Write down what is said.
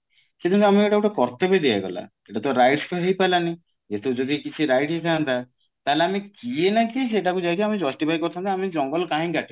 ସେଟା ନୁହେଁ ଆମକୁ ଏଇଟା ଗୋଟେ କର୍ତବ୍ୟ ଦିଆଗଲା ଯେତେବେଳେ rights ତ ହେଇ ପାରିଲାନି ତ ଯଦି କିଛି rights ହେଇଥାନ୍ତା ତାହେଲେ ଆମେ କିଏ ନା କିଏ ସେଟା କୁ ଯାଇ ଆମେ justify କରିଥାନ୍ତୁ ଆମେ ଜଙ୍ଗଲ କାହିଁ କି କାଟିଲୁ